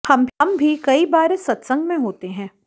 हम भी कई बार इस सतसंग में होते हैं